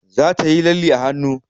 Za ta yi lalle a hanu